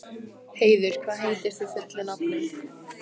Heiður, hvað heitir þú fullu nafni?